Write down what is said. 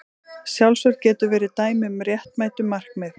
Sjálfsvörn getur verið dæmi um réttmætt markmið.